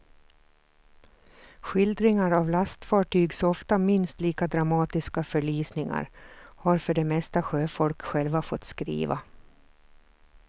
Skildringar av lastfartygs ofta minst lika dramatiska förlisningar har för det mesta sjöfolk själva fått skriva.